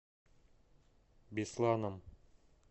бесланом